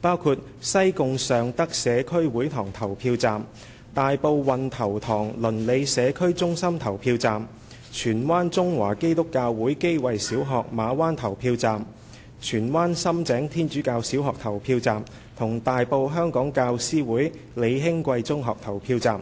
包括西貢尚德社區會堂投票站、大埔運頭塘鄰里社區中心投票站、荃灣中華基督教會基慧小學投票站、荃灣深井天主教小學投票站及大埔香港教師會李興貴中學投票站。